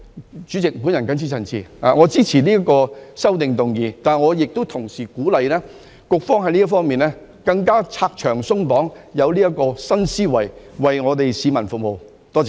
代理主席，我謹此陳辭，支持修正案，但同時亦鼓勵局方要在這方面更加拆牆鬆綁，以新思維為市民服務，多謝。